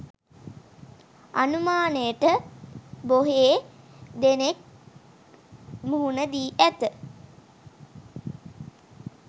අනුමානයට බොහේ දෙනෙක් මුහුණ දී ඇත